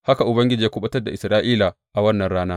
Haka Ubangiji ya kuɓutar da Isra’ila a wannan rana.